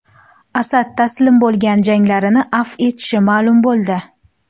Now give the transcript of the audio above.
Asad taslim bo‘lgan jangarilarni afv etishi ma’lum bo‘ldi.